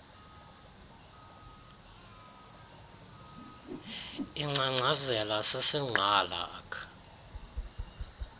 lingcangcazela sisingqala ak